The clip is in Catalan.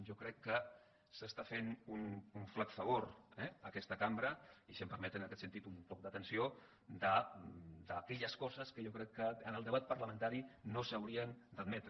jo crec que es fa un flac favor eh a aquesta cambra i si em permeten en aquest sentit un toc d’atenció d’aquelles coses que jo crec que en el debat parlamentari no s’haurien d’admetre